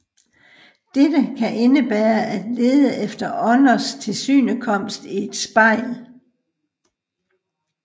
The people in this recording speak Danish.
Dette kan indebære at lede efter ånders tilsynekomst i et spejl